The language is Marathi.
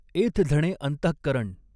एथ झणे अंतःकरण।